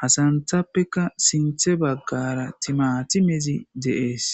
hasanthappeka sinthe baggara timatimezi de'ees.